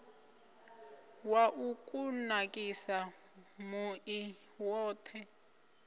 wa u kunakisa muḓi woṱhe